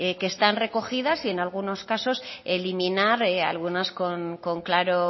que están recogidas y en algunos casos eliminar algunas con claro